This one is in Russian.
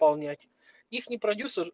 полнять ихний продюсер